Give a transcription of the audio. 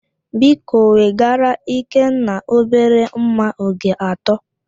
Biko wegara Ekene obere mma oge atọ